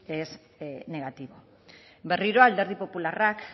es negativo berriro alderdi popularra